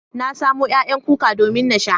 Na samo ƴaƴan kuka domin na sha.